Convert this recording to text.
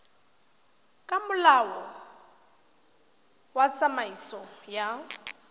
ka molao wa tsamaiso ya